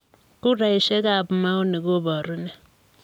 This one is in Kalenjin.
Kuraisiekab maoni koboru ne?